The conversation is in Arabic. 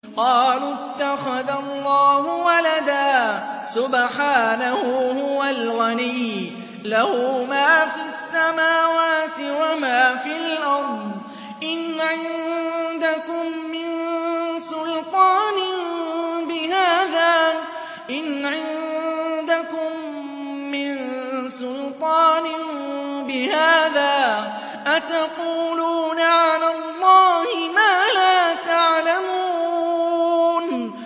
قَالُوا اتَّخَذَ اللَّهُ وَلَدًا ۗ سُبْحَانَهُ ۖ هُوَ الْغَنِيُّ ۖ لَهُ مَا فِي السَّمَاوَاتِ وَمَا فِي الْأَرْضِ ۚ إِنْ عِندَكُم مِّن سُلْطَانٍ بِهَٰذَا ۚ أَتَقُولُونَ عَلَى اللَّهِ مَا لَا تَعْلَمُونَ